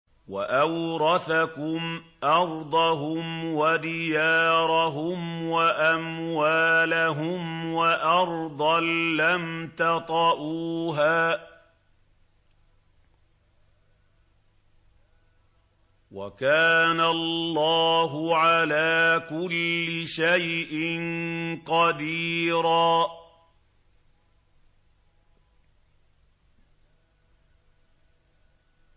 وَأَوْرَثَكُمْ أَرْضَهُمْ وَدِيَارَهُمْ وَأَمْوَالَهُمْ وَأَرْضًا لَّمْ تَطَئُوهَا ۚ وَكَانَ اللَّهُ عَلَىٰ كُلِّ شَيْءٍ قَدِيرًا